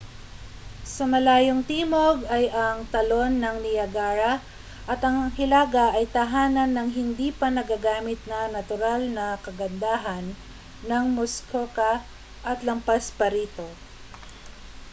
sa malayong timog ay ang talon ng niagara at ang hilaga ay tahanan ng hindi pa nagagamit na natural na kagandahan ng muskoka at lampas pa rito